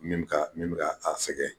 Min bɛ ka min bɛ ka sɛgɛn